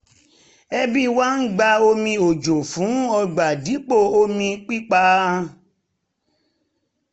ẹbí wa ń gba omi òjò fún ọgbà dipo omi pípà